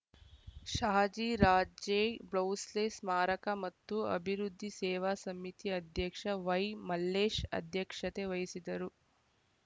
ಶಹಜಿ ರಾಜೇ ಬ್ಲೌಸೆಸ್ ಸ್ಮಾರಕ ಮತ್ತು ಅಭಿವೃದ್ದಿ ಸೇವಾ ಸಮಿತಿ ಅಧ್ಯಕ್ಷ ವೈಮಲ್ಲೇಶ್‌ ಅಧ್ಯಕ್ಷತೆ ವಹಿಸಿದ್ದರು